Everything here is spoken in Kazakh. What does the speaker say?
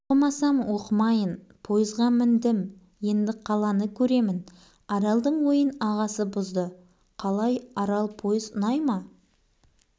оқымасам оқымайын пойызға міндім енді қаланы көремін аралдың ойын ағасы бұзды қалай арал пойыз ұнай ма